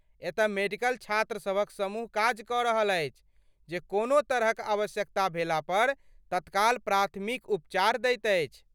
एतय मेडिकल छात्रसभक समूह काज कऽ रहल अछि जे कोनो तरहक आवश्यकता भेला पर तत्काल प्राथमिक उपचार दैत अछि।